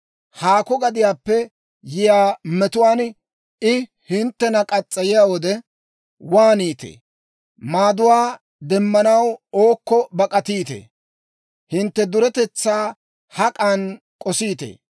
Haakko gadiyaappe yiyaa metuwaan I hinttena muriyaa wode, waaniitee? Maaduwaa demmanaw ookko bak'atiitee? Hintte duretetsaa hak'an k'osiitee?